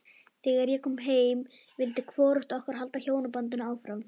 Þegar ég kom heim vildi hvorugt okkar halda hjónabandinu áfram.